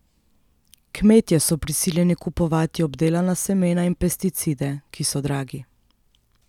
Kmetje so prisiljeni kupovati obdelana semena in pesticide, ki so dragi.